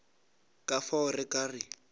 ka fao re ka re